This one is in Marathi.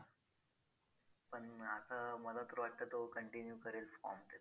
नाही नाही फक्त अ health वरती आहे.